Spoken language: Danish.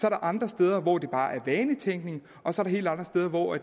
er andre steder hvor det bare er vanetænkning og så er der helt andre steder hvor